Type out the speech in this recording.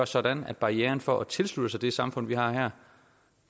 sådan at barriererne for at tilslutte sig det samfund vi har her